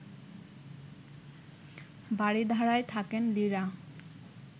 বারিধারায় থাকেন লিরা